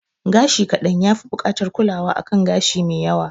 Gashi kaɗan ya fi bukatan kulawa a kan gashi me yawa